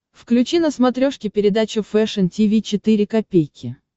включи на смотрешке передачу фэшн ти ви четыре ка